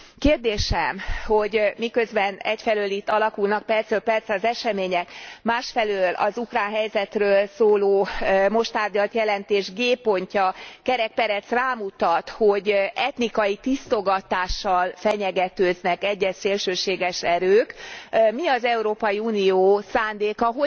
Kérdésem, hogy miközben egyfelől itt alakulnak percről percre az események, másfelől az ukrán helyzetről szóló most tárgyalt jelentés g pontja kerek perec rámutat, hogy etnikai tisztogatással fenyegetőznek egyes szélsőséges erők, mi az Európai Unió szándéka?